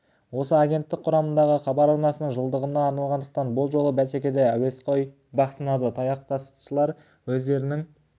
осы агенттік құрамындағы хабар арнасының жылдығына арналғандықтан бұл жолғы бәсекеде әуесқой бақ сынады тастаяқшылар өздерінің